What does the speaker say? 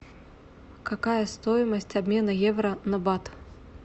какая стоимость обмена евро на бат